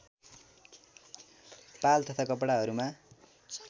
पाल तथा कपडाहरूमा